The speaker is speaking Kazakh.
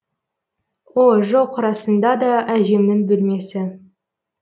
о жоқ расында да әжемнің бөлмесі